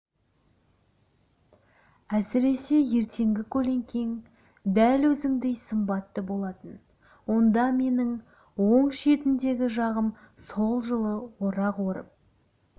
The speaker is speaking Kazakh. әсіресе ертеңгі көлеңкең дәл өзіңдей сымбатты болатын онда менің он жетідегі шағым сол жылы орақ орып